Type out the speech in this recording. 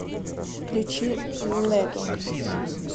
включи лего